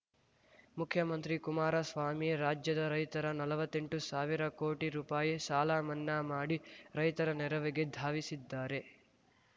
ಮುಖ್ಯಮಂತ್ರಿ ಕುಮಾರಸ್ವಾಮಿ ರಾಜ್ಯದ ರೈತರ ನಲ್ವತ್ತೆಂಟು ಸಾವಿರ ಕೋಟಿ ರೂಪಾಯಿ ಸಾಲ ಮನ್ನಾ ಮಾಡಿ ರೈತರ ನೆರವಿಗೆ ಧಾವಿಸಿದ್ದಾರೆ